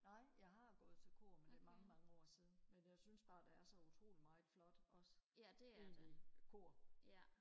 nej jeg har gået til kor men det er mange mange år siden men jeg synes bare der er så utrolig meget flot også egentlig kor